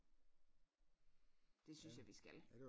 Det synes jeg vi skal